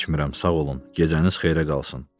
İçmirəm, sağ olun, gecəniz xeyrə qalsın.